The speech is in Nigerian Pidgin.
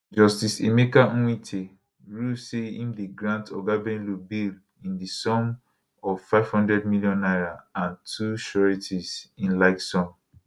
justice emeka nwite rule say im dey grant oga bello bail in di sum of 500 million naira and two sureties in like sum